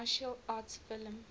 martial arts film